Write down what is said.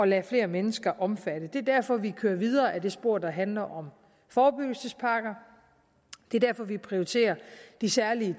lade flere mennesker omfatte det er derfor vi kører videre ad det spor der handler om forebyggelsespakker det er derfor vi prioriterer de særlige